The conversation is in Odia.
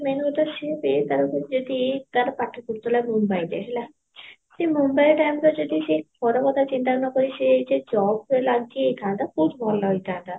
main କଥା ସିଏ ତାର ବି ଯଦି ତାର ପାଠ ପଡୁଥିଲା ମୁମ୍ବାଇରେ ହେଲା ସେ ମୁମ୍ବାଇ time ରେ ଯଦି ଘର କଥା ଚିନ୍ତା ନକରି ସେ job ରେ ଲାଗିଯାଇଥାନ୍ତା ବହୁତ ଭଲ ହେଇଥାନ୍ତା